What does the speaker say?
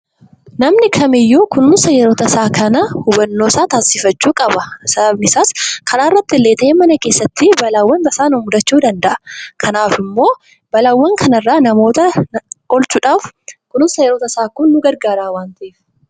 Namni kamiyyuu kunuunsa yeroo tasaa kana hubannoo isaa taasifachuu qaba. Sababni isaas karaa irrattis ta'e mana keessatti balaawwan tasaa nu mudachuu danda'a. Kanaaf immoo balaawwan kana irraa namoota oolchuudhaaf kunuunsa yeroo tasaa kun nu gargaara waan ta'eef.